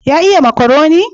Ya iya makaroni?